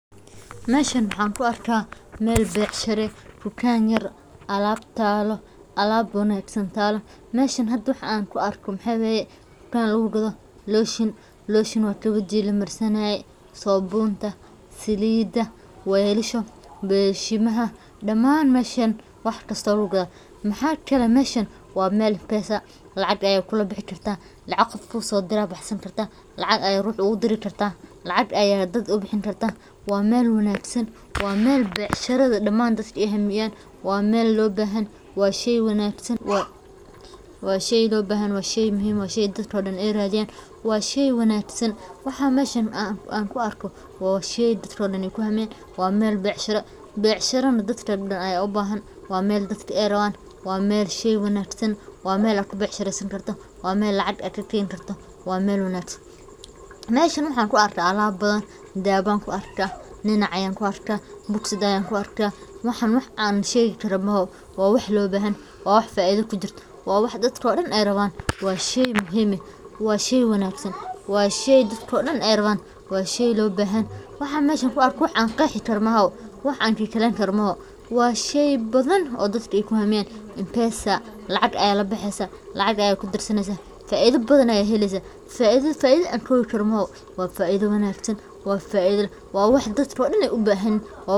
Dukaankani wuxuu leeyahay qaybo kala duwan sida raashinka, dharka, agabka elektarooniga ah, alaabta guriga, iyo waliba qayb carruurtu ku raaxaystaan oo ay ku jiraan alaabtooda ciyaarta. Waxaa la yaab leh nadaafadda dukaanka, habaynta alaabta, iyo sida shaqaalaha u yihiin kuwo had iyo jeer u diyaar ah in ay caawiyaan macaamiisha si xushmad iyo farxad leh. Waxaa sidoo kale dukaanka ku yaal qayb weyn oo lagu iibiyo cuntooyinka la kariyey iyo cabitaannada kala duwan ee qabow iyo kulul. Qiimayaasha badeecooyinka ayaa aad loogu tartamay, iyadoo mar walba lagu dadaalo in macaamiishu helaan qiimo jaban oo la jaanqaadaya dhaqaalahooda.